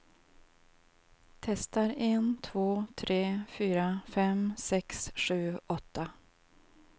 Testar en två tre fyra fem sex sju åtta.